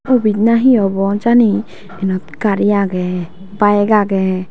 office na he obo jani enot gari agey bike agey.